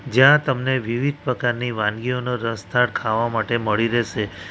જ્યાં તમને વિવિધ પ્રકારની વાનગીઓનો રસધાર ખાવા માટે મળી રહેશે.